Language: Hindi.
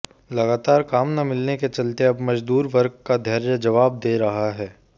लगातार काम न मिलने के चलते अब मजदूर वर्ग का धैर्य जबाब दे रहा है